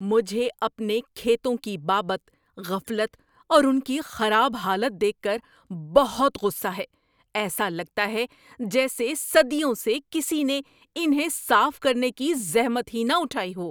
مجھے اپنے کھیتوں کی بابت غفلت اور ان کی خراب حالت دیکھ کر بہت غصہ ہے۔ ایسا لگتا ہے جیسے صدیوں سے کسی نے انہیں صاف کرنے کی زحمت ہی نہ اٹھائی ہو۔